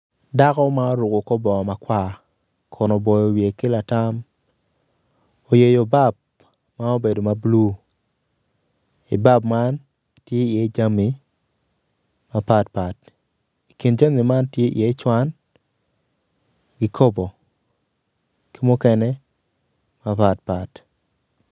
Dako ma oruko kor bongo maatar kun oboyo wiye ki latam oyeyo bap ma obedo ma bulu i bap man tye iye jami mapatpat. I kin jami man tye iye cwan kikopo ki mukene mapatpat.